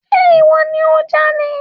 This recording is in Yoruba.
Ṣe ìwọ ni o jalè?